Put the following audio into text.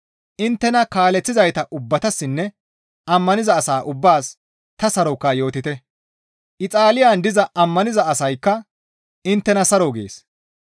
Inttena kaaleththizayta ubbatassinne ammaniza asaa ubbaas ta saroka yootite. Ixaaliyan diza ammaniza asaykka inttena saro gees.